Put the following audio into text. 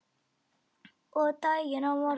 Og daginn á morgun.